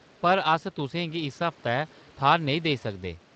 पर अस तुसें गी इस हफ्तै थाह्‌‌‌र नेईं देई सकदे।